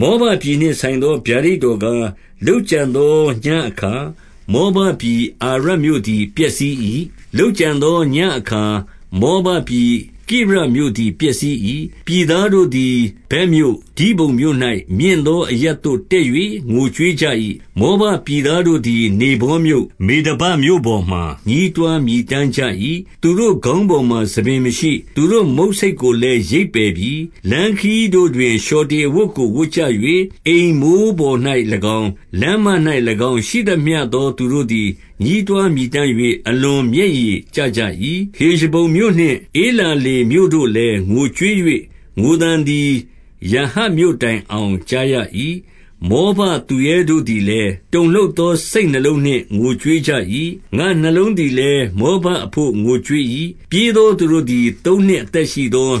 မောဘပြည် နှင့် ဆိုင်သော ဗျာဒိတ်တော်ကား၊ လုပ်ကြံသော ညဉ့်အခါ၊ မောဘပြည်အာရမြို့သည် ပျက် စီး၏။ လုပ်ကြံသော ညဉ့်အခါ၊ မောဘပြည် ကိရမြို့သည် ပျက်စီး၏။ 2 ပြည်သားတို့သည် ဗက်မြို့၊ဒိဘုန်မြို့၌ မြင့် သောအရပ်သို့ တက်၍ ငိုကြွေးကြ၏။ မောဘပြည်သူ တို့သည် နေဗောမြို့၊ မေဒဘမြို့ပေါ်မှာ ညဉ်းတွား မြည်တမ်းကြ၏။ သူတို့ခေါင်းပေါ်မှာ ဆံပင်မရှိ။ သူတို့ မုတ်ဆိတ်ကိုလည်း ရိတ်ပယ်ပြီ။ 3 လမ်းခရီးတို့တွင် လျှော်တေအဝတ်ကို ဝတ်ကြ ၍၊ အိမ်မိုးပေါ်၌၎င်း၊ လမ်းမ၌ ၎င်းရှိသမျှသော သူတို့သည် ညည်းတွားမြည်တမ်း၍၊ အလွန် မျက်ရည် ကျကြ၏။ 4 ဟေရှဘုန်မြို့နှင့် ဧလာလေမြို့တို့လည်း ငိုကြွေး ၍၊ ငိုသံသည် ယာဟတ်မြို့တိုင်အောင် ကြားရ၏။ မောဘ သူရဲတို့သည်လည်း၊ တုန်လှုပ်သောစိတ်နှလုံးနှင့် ငိုကြွေး ကြ၏။ 5 ငါ့နှလုံးသည်လည်း၊ မောဘအဘို့ ငိုကြွေး၏။ ပြေးသောသူတို့သည်၊ သုံးနှစ်အသက်ရှိသော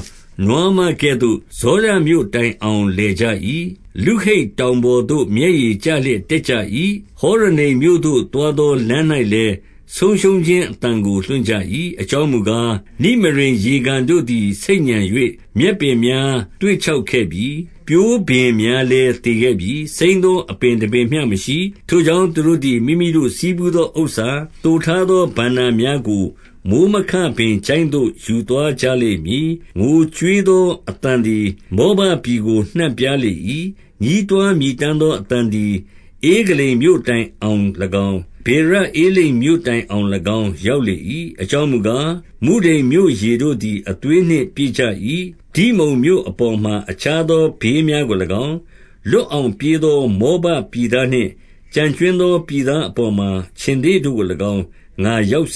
နွားမကဲ့သို့ ဇောရမြို့တိုင်အောင် လည်ကြ၏။ လုဟိတ်တောင်ပေါ်သို့ မျက်ရည်ကျလျက် တက်ကြ၏။ ဟောရနိမ့်မြို့သို့ သွား သော လမ်း၌လည်း ဆုံးရှုံးခြင်းအသံကို လွှင့်ကြ၏။ 6 အကြောင်းမူကား၊နိမရိမ် ရေကန်တို့သည် ဆိတ်ညံ၍၊ မြက်ပင်များ သွေ့ခြောက်ခဲ့ပြီ။ ပျိုးပင်များ လည်း သေခဲ့ပြီ။ စိမ်းသောအပင် တပင်မျှမရှိ။ 7 ထို့ကြောင့်၊ သူတို့သည် မိမိတို့ဆည်းဖူးသော ဥစ္စာ၊ သိုထားသောဘဏ္ဍာများကို မိုဃ်းမခပင် ချိုင့်သို့ ယူသွားကြလိမ့်မည်။ 8 ငိုကြွေးသောအသံသည် မောဘပြည်ကို နှံ့ပြား လေ၏။ ညဉ်းတွားမြည်တမ်းသော အသံသည် ဧဂလိမ် မြို့ တိုင်အောင်၎င်း၊ ဗေရဧလိမ်မြို့ တိုင်အောင်၎င်း ရောက်လေ၏။ 9 အကြောင်းမူကား၊ မုဒိန်မြို့ရေတို့သည် အသွေး နှင့်ပြည့်ကြ၏။ ဒိဇုန်မြို့အပေါ်မှာ အခြားသော ဘေးများ ကိုင်း၊ လွတ်အောင်ပြေးသော မောဘပြည်သားနှင့် ကျန်ကြွင်းသော ပြည်သားအပေါ်မှာ ခြင်္သေ့တို့ကို၎င်း ငါရောက်စ